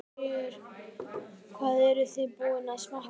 Sigríður: Hvað eruð þið búin að smakka marga?